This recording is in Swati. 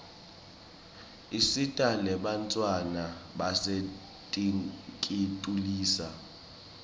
isita nebantfwana basetinkitulisa